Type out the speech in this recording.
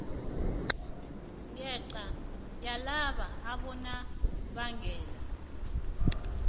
ngenca yalaba abonobangela